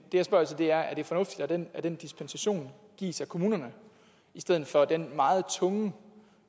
jeg spørger til er er det fornuftigt at den den dispensation gives af kommunerne i stedet for af den meget tunge